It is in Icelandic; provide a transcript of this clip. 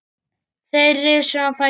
Þeir risu á fætur.